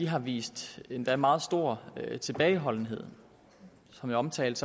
har vist endda meget stor tilbageholdenhed som jeg omtalte